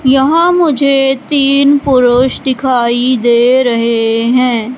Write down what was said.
यहां मुझे तीन पुरुष दिखाई दे रहे हैं।